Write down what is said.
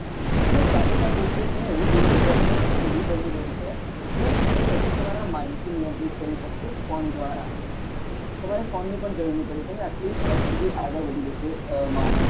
અને સાથે સાથે એક મેં એવું જોયું કે technology એવી બની રહી છે કે તમે બધું તમારા mind થી નિયંત્રિત કરી શકશો ફોન દ્વારા તમારે ફોન ની પણ જરૂર નહી પડે તમે આટલી હદ સુધી આગળ વધી જશે માણસ